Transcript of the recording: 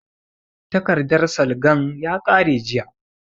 Takardan salgan ya ƙare jiya